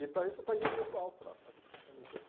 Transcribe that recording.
E para isso eu paguei um preço alto lá, sabe, paguei um preço.